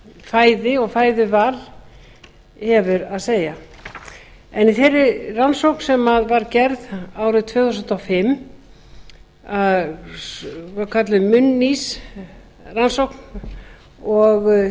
fæði og fæðuval hefur að segja í þeirri rannsókn sem var gerð árið tvö þúsund og fimm var kölluð munnís rannsókn og